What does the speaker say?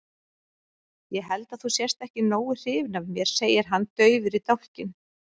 Ég held að þú sért ekki nógu hrifin af mér, segir hann daufur í dálkinn.